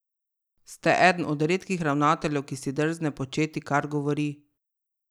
Ste eden od redkih ravnateljev, ki si drzne početi, kar govori.